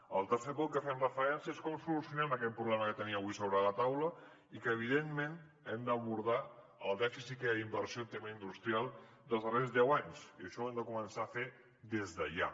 en el tercer punt al que fem referència és a com solucionem aquest problema que tenim avui sobre la taula i a que evidentment hem d’abordar el dèficit que hi ha d’inversió en tema industrial els darrers deu anys i això ho hem de començar a fer des de ja